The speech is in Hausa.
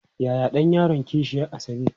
Yaya ɗan yaron kishiyar Asabe?